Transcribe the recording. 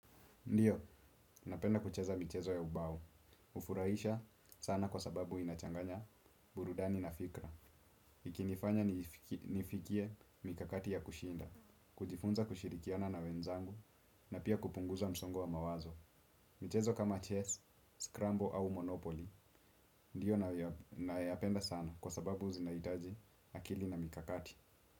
Ndiyo, napenda kucheza michezo ya ubao. Hufurahisha sana kwa sababu inachanganya burudani na fikra. Ikinifanya nifikie mikakati ya kushinda, kujifunza kushirikiana na wenzangu, na pia kupunguza msongo wa mawazo. Mchezo kama chess, scramble au monopoly. Ndiyo, nayoyapenda sana kwa sababu zinahitaji akili na mikakati.